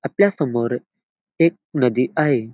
आपल्या समोर एक नदी आहे.